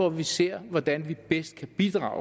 at vi ser hvordan vi bedst kan bidrage